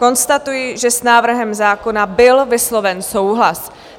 Konstatuji, že s návrhem zákona byl vysloven souhlas.